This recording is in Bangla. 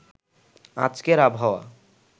আজকের আবহাওয়া